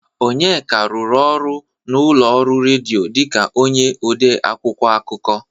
Onyeka rụrụ ọrụ n'ụlọ ọrụ redio dịka onye ode akwụkwọ akụkọ.